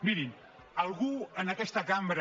mirin algú en aquesta cambra